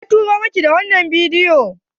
Waya turo miki wannan bidiyon?